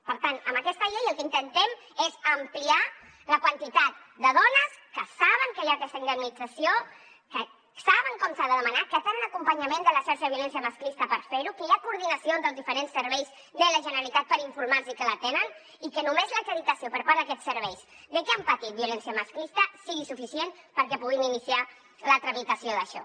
per tant amb aquesta llei el que intentem és ampliar la quantitat de dones que saben que hi ha aquesta indemnització que saben com s’ha de demanar que tenen acompanyament de la xarxa de violència masclista per fer ho que hi ha coordinació entre els diferents serveis de la generalitat per informar los que la tenen i que només l’acreditació per part d’aquests serveis de que han patit violència masclista sigui suficient perquè puguin iniciar la tramitació d’això